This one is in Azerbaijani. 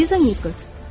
Liza Nikols.